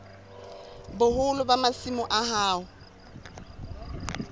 boholo ba masimo a hao